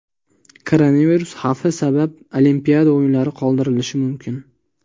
Koronavirus xavfi sabab Olimpiada o‘yinlari qoldirilishi mumkin.